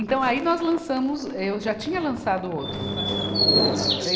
Então, aí nós lançamos, eu já tinha lançado outro.